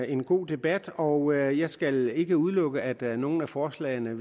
en god debat og jeg skal ikke udelukke at der er nogle af forslagene